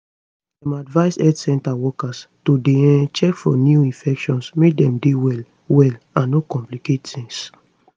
dem advise health center workers to dey um check for new infections make dem dey well well and no complicate tings